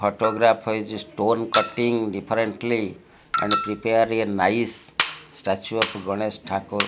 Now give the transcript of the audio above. autograph has a stone cutting differently and prepare a nice statue of ganesh thakur.